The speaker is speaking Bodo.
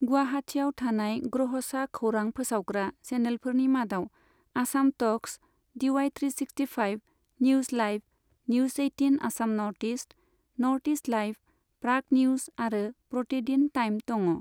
गुवाहाटियाव थानाय ग्रहसा खौरां फोसावग्रा चेनलफोरनि मादाव Assam talks, DY three sixty five, news live, news eighteen Assam north east, north east live, Prag news आरो प्रतिदिन टाइम दङ।